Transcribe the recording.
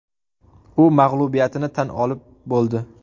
U mag‘lubiyatini tan olib bo‘ldi.